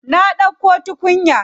Na ɗauko tukunya.